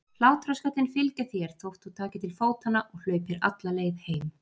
Hlátrasköllin fylgja þér þótt þú takir til fótanna og hlaupir alla leið heim.